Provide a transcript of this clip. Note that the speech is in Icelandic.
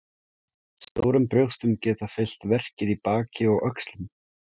Stórum brjóstum geta fylgt verkir í baki og öxlum.